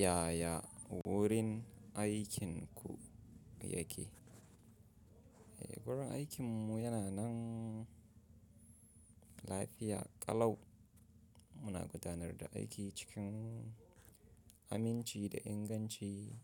Yaya wurin aikinku yake? Eh, wurin aikinmu yana nan lafiya ƙalau. Muna gudanar da aiki cikin aminci da inganci,